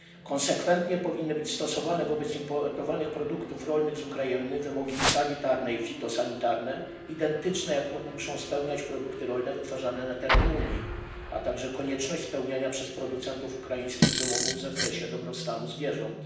Konsekwentnie powinny być stosowane wobec importowanych produktów rolnych z Ukrainy wymogi sanitarne i fitosanitarne identyczne z tymi, jakie muszą spełniać produkty rolne wytwarzane na terenie Unii, a także konieczność spełniania przez producentów ukraińskich wymogów w zakresie dobrostanu zwierząt.